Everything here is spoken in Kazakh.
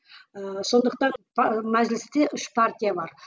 ыыы сондықтан ы мәжілісте үш партия бар